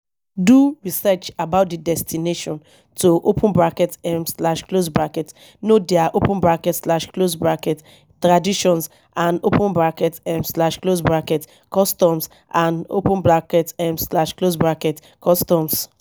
do research about di destination to um know their um traditions and um customs and um customs